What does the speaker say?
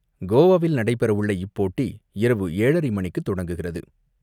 கோவாவில் நடைபெற உள்ள இப்போட்டி இரவு ஏழறரை மணிக்கு தொடங்குகிறது.